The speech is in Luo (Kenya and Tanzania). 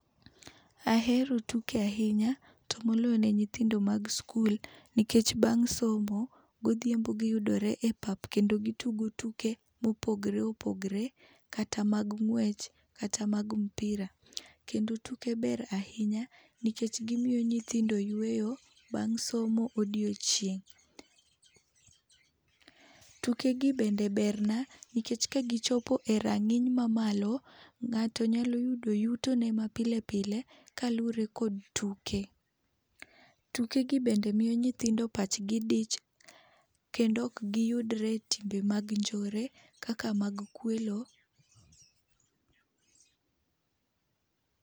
Ahero tuke ahinya tomoloyo ne nyithindo mag skul, nikech bang' somo godhiambo giyudore epap kendo gitugo tuke mopogore opogore, kata mag ng'wech, kata mag mpira. Kendo tuke ber ahinya nikech gimiyo nyithindo yueyo bang' somo odiechieng'. Tukegi bende berna nikech kagichopo erang'iny mamalo, ng'ato nyalo yudo yutone mapile pile kaluwore kod tuke. Tukegi bende miyo nyithindo pachgi dich kendo ok giyudre etimbe mag njore kaka mag kwelo.